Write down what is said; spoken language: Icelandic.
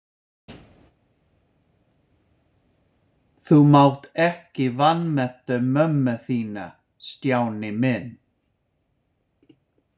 Þú mátt ekki vanmeta mömmu þína, Stjáni minn.